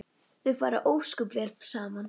Þau fara ósköp vel saman